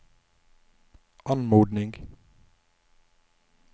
anmodning